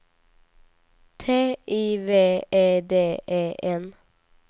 T I V E D E N